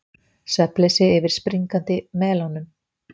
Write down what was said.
Svefnleysi yfir springandi melónum